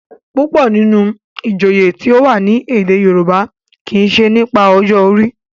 púpọ nínú ìjòyè tíó wá ní èdè yorùbá kí ṣe nípa ọjọ orí.